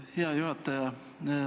Hea juhataja!